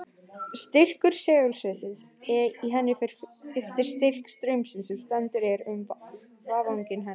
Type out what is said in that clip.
Styrkur segulsviðsins í henni fer eftir styrk straumsins sem sendur er um vafninga hennar.